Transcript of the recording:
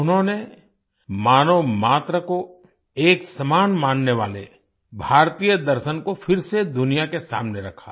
उन्होंने मानव मात्र को एक समान मानने वाले भारतीय दर्शन को फिर से दुनिया के सामने रखा